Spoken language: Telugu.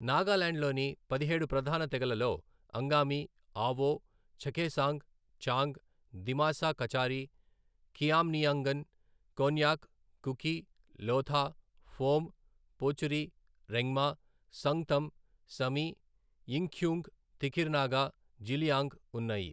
నాగాలాండ్లోనిపదిహేడు ప్రధాన తెగలలో అంగామి, ఆవో, చఖేసాంగ్, చాంగ్, దిమాసా కచారి, ఖియామ్నియంగన్, కొన్యాక్, కుకి, లోథా, ఫోమ్, పోచురి, రెంగ్మా, సంగ్తమ్, సమి, యింఖ్యుంగ్, తిఖిర్ నాగా, జిలియాంగ్ ఉన్నాయి.